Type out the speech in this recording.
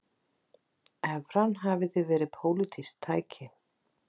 Evran hafi því verið pólitískt tæki